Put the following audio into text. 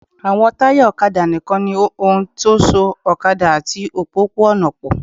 Àwọn táyà ọ̀kadà nìkan ni ohun tó so ọ̀kadà àti òpópó-ọ̀nà pọ̀